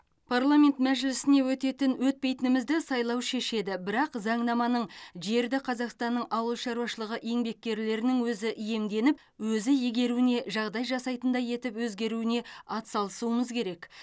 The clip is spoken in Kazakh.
парламент мәжілісіне өтетін өтпейтінімізді сайлау шешеді бірақ заңнаманың жерді қазақстанның ауылшаруашылығы еңбеккерлерінің өзі иемденіп өзі игеруіне жағдай жасайтындай етіп өзгеруіне атсалысуымыз керек